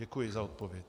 Děkuji za odpověď.